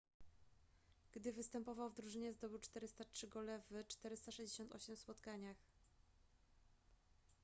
gdy występował w drużynie zdobył 403 gole w 468 spotkaniach